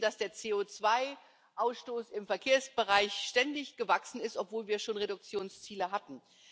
Wir wissen, dass der CO2 Ausstoß im Verkehrsbereich ständig gewachsen ist, obwohl wir schon Reduktionsziele hatten.